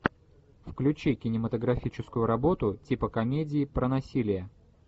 включи кинематографическую работу типа комедии про насилие